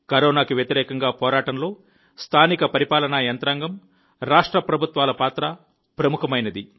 కరోనాకు వ్యతిరేకంగా పోరాటంలో స్థానిక పరిపాలన యంత్రాంగం రాష్ట్ర ప్రభుత్వాల పాత్ర ప్రముఖమైనది